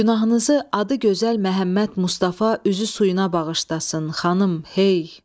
Günahınızı adı gözəl Məhəmməd Mustafa üzü suyuna bağışlasın, xanım, hey.